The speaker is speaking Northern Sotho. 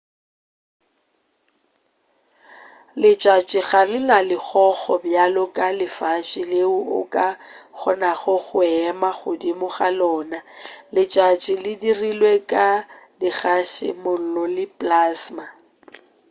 letšatši ga le na legogo bjalo ka lefase leo o ka kgonago go ema godimo ga lona letšatši le dirilwe ka dikgase mollo le plasma